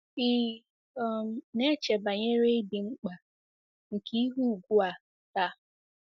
Ị̀ um na-eche banyere ịdị mkpa nke ihe ùgwù a taa?